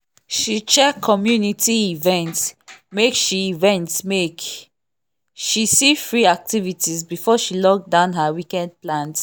she check community events make she events make she see free activities before she lock down her weekend plans.